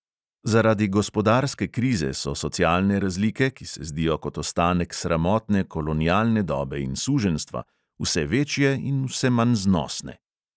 Zaradi gospodarske krize so socialne razlike, ki se zdijo kot ostanek sramotne kolonialne dobe in suženjstva, vse večje in vse manj znosne.